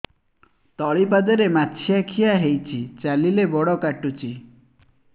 ତଳିପାଦରେ ମାଛିଆ ଖିଆ ହେଇଚି ଚାଲିଲେ ବଡ଼ କାଟୁଚି